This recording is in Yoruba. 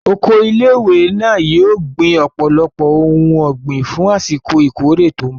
Oko ilé ìwé náà yóò gbin ọ̀pọ̀lọpọ̀ ohun ọ̀gbìn fún àsìkò ìkórè tó mbọ̀